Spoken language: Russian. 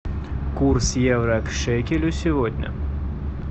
курс евро к шекелю сегодня